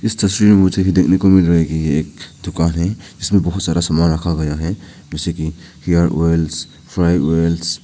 इस तस्वीर में मुझे देखने को मिल रही है एक दुकान है इसमे बहुत सारा सामान रखा हुआ है जैसे की हेयर ऑयल्स फ्राई ऑयल्स --